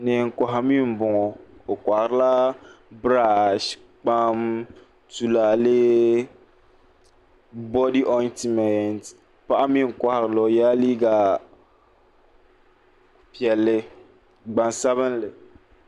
Neen kohi mii n boŋo o koharila birash kpam tulaalɛ bodi ontimɛnt paɣa mii n koharili o yɛla liiga piɛlli gbaŋsabinli